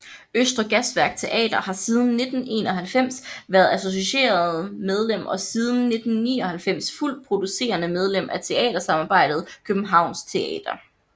Østre Gasværk Teater har siden 1991 været associeret medlem og siden 1999 fuldt producerende medlem af teatersamarbejdet Københavns Teater